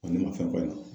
Wa ne ma fɛn fɔ a ɲɛna